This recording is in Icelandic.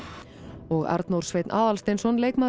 og Arnór Sveinn Aðalsteinsson leikmaður